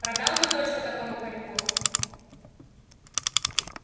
продал бы дочку такому хорьку